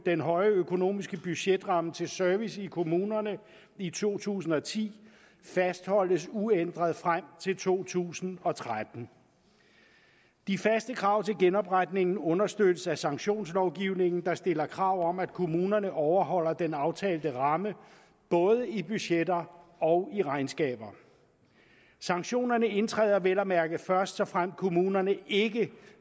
den høje økonomiske budgetramme til service i kommunerne i to tusind og ti fastholdes uændret frem til to tusind og tretten de faste krav til genopretningen understøttes af sanktionslovgivningen der stiller krav om at kommunerne overholder den aftalte ramme både i budgetter og i regnskaber sanktionerne indtræder vel at mærke først såfremt kommunerne ikke